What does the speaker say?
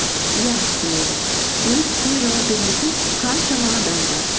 иә білемін өз ісіне жауап бермейтін қаншама адам бар